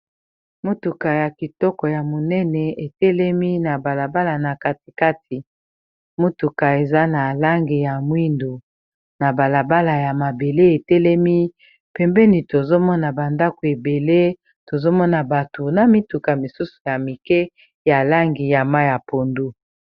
Motuka ya kitoko ya monene etelemi na balabala na katikati motuka eza na langi ya mwindu na balabala ya mabele etelemi pembeni tozomona ba ndako ebele tozomona batu na mituka misusu ya mike ya langi ya mayi ya pondu.